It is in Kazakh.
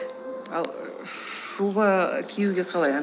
ал шуба киюге қалай